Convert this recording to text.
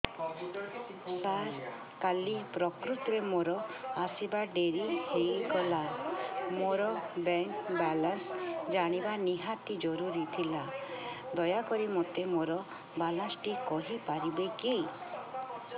ସାର କାଲି ପ୍ରକୃତରେ ମୋର ଆସିବା ଡେରି ହେଇଗଲା ମୋର ବ୍ୟାଙ୍କ ବାଲାନ୍ସ ଜାଣିବା ନିହାତି ଜରୁରୀ ଥିଲା ଦୟାକରି ମୋତେ ମୋର ବାଲାନ୍ସ ଟି କହିପାରିବେକି